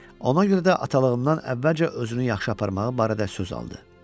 Ona görə də atalığımdan əvvəlcə özünü yaxşı aparmağı barədə söz aldı.